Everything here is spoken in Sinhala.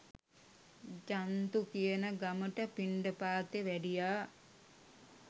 ජන්තු කියන ගමට පිණ්ඩපාතේ වැඩියා